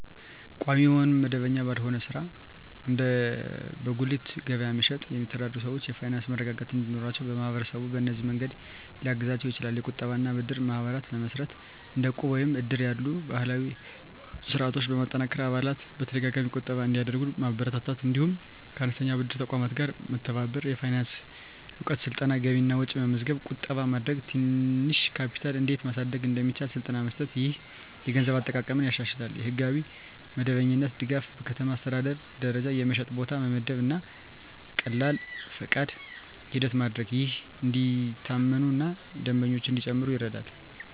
ቋሚ ወይም መደበኛ ባልሆነ ሥራ (እንደ በጉሊት ገበያ መሸጥ) የሚተዳደሩ ሰዎች የፋይናንስ መረጋጋት እንዲኖራቸው ማህበረሰቡ በእነዚህ መንገዶች ሊያግዛቸው ይችላል፦ የቁጠባ እና ብድር ማህበራት መመስረት – እንደ ዕቁብ ወይም እድር ያሉ ባህላዊ ስርዓቶችን በማጠናከር አባላት በተደጋጋሚ ቁጠባ እንዲያደርጉ ማበረታታት። እንዲሁም ከአነስተኛ ብድር ተቋማት ጋር መተባበር። የፋይናንስ እውቀት ስልጠና – ገቢና ወጪ መመዝገብ፣ ቁጠባ ማድረግ፣ ትንሽ ካፒታል እንዴት ማሳደግ እንደሚቻል ስልጠና መስጠት። ይህ የገንዘብ አጠቃቀምን ያሻሽላል። የሕጋዊ መደበኛነት ድጋፍ – በከተማ አስተዳደር ደረጃ የመሸጫ ቦታ መመደብ እና ቀላል ፈቃድ ሂደት ማድረግ፣ ይህም እንዲታመኑ እና ደንበኞች እንዲጨምሩ ይረዳል።